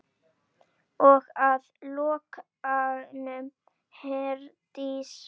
Og að lokum, Herdís.